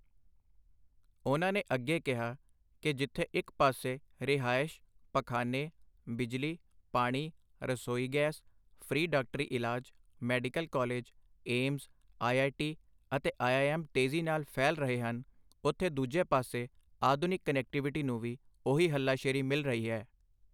ਉਨ੍ਹਾਂ ਨੇ ਅੱਗੇ ਕਿਹਾ ਕਿ ਜਿੱਥੇ ਇੱਕ ਪਾਸੇ ਰਿਹਾਇਸ਼, ਪਖਾਨੇ, ਬਿਜਲੀ, ਪਾਣੀ, ਰਸੋਈ ਗੈਸ, ਫ੍ਰੀ ਡਾਕਟਰੀ ਇਲਾਜ, medical college, AIIMS, I I T ਅਤੇ ਆਈ ਆਈ ਐੱਮ ਤੇਜ਼ੀ ਨਾਲ ਫੈਲ ਰਹੇ ਹਨ, ਉਥੇ ਦੂਜੇ ਪਾਸੇ ਆਧੁਨਿਕ ਕਨੈਕਟੀਵਿਟੀ ਨੂੰ ਵੀ ਉਹੀ ਹੱਲਾਸ਼ੇਰੀ ਮਿਲ ਰਹੀ ਹੈ।